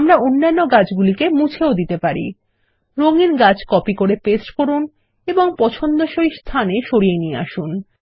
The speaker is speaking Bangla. আমরা অন্য গাছগুলিকেও মুছে দিতে পারি রঙিন গাছ কপি করে পেস্ট করুন এবং পছন্দসই স্থানে সরিয়ে নিয়ে আসুন